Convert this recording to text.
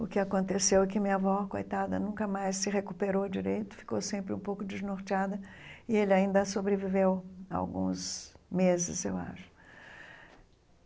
O que aconteceu é que minha avó, coitada, nunca mais se recuperou direito, ficou sempre um pouco desnorteada, e ele ainda sobreviveu alguns meses, eu acho.